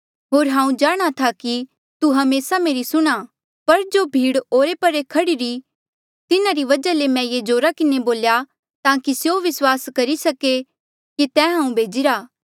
होर हांऊँ जाणहां था कि तू हमेसा मेरी सुणहां पर जो भीड़ ओरे परे खड़िरी तिन्हारी वजहा ले मैं ये जोरा किन्हें बोल्या ताकि स्यों विस्वास करी सके कि तैं हांऊँ भेजिरा